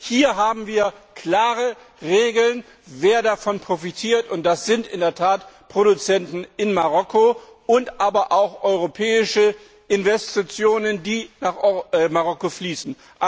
Hier haben wir klare Regeln, wer davon profitiert, und das sind in der Tat Produzenten in Marokko, aber auch europäische Investitionen, die nach Marokko fließen.